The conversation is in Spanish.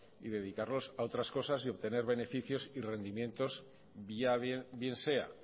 y dedicarlos a otras cosas y obtener beneficios y rendimientos bien sea